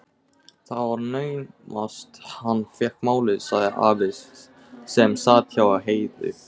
Það var naumast hann fékk málið, sagði afi sem sat hjá Heiðu.